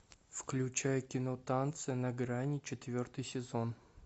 включай кино танцы на грани четвертый сезон